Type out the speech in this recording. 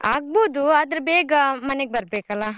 ಆಗ್ಬೋದು ಆದ್ರೆ ಬೇಗ ಮನೆಗೆ ಬರಬೇಕಲ್ಲಾ.